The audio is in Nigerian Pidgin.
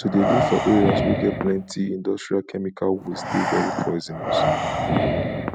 to de live for areas wey get plenty industrial chemical waste de very poisionous